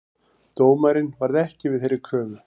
Dómarinn varð ekki við þeirri kröfu